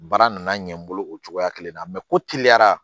Baara nana ɲɛ n bolo o cogoya kelen na ko teliya